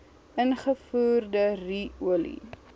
ingevoerde ru olie